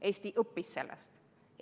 Eesti õppis sellest.